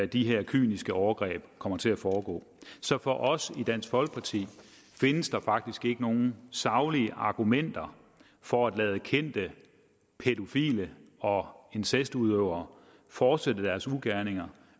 de her kyniske overgreb kommer til at foregå så for os i dansk folkeparti findes der faktisk ikke nogen saglige argumenter for at lade kendte pædofile og incestudøvere fortsætte deres ugerninger